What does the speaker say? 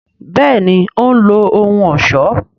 béèni òun lo ohùn ọṣọ.